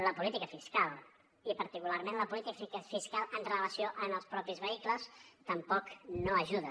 la política fiscal i particularment la política fiscal en relació amb els mateixos vehicles tampoc no hi ajuda